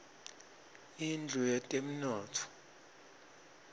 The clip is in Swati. indlu yetemnotfo